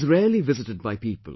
It is rarely visited by people